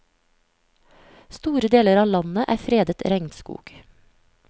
Store deler av landet er fredet regnskog.